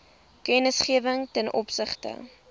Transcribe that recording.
kennisgewing ten opsigte